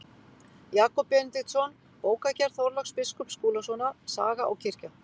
Jakob Benediktsson, Bókagerð Þorláks biskups Skúlasonar, Saga og kirkja.